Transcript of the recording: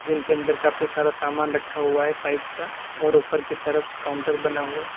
जिनके अंदर काफी सारा सामान रखा हुआ है पाइप का और ऊपर की तरफ काउंटर बना हुआ है।